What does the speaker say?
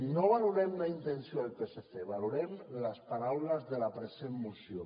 no valorem la intenció del psc valorem les paraules de la present moció